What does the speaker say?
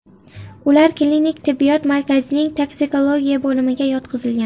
Ular klinik tibbiyot markazining toksikologiya bo‘limiga yotqizilgan.